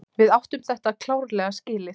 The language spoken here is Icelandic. Við áttum þetta klárlega skilið.